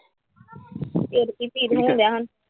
ਫਿਰ ਕੀ feel ਹੋਣ ਡਿਆ ਹੁਣ।